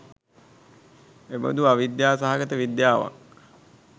එබඳු අවිද්‍යා සහගත විද්‍යාවක්